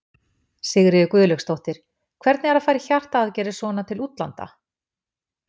Sigríður Guðlaugsdóttir: Hvernig er að fara í hjartaaðgerðir svona til útlanda?